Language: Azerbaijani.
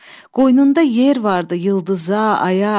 Qoynunda yer vardır ulduza, aya,